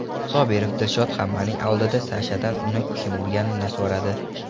Sobirov Dilshod hammaning oldida Sashadan uni kim urganini so‘radi.